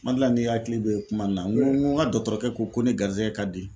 Ma dal'a n'i hakili be kuma in go n go n ga dɔtɔrɔkɔ ko ne garizɛgɛ ka di